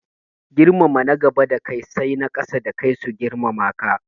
Girmama na gaba da kai sai na ƙasa da kai su girmama ka